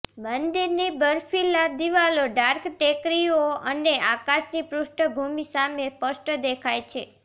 મંદિરની બરફીલા દિવાલો ડાર્ક ટેકરીઓ અને આકાશની પૃષ્ઠભૂમિ સામે સ્પષ્ટ દેખાય છે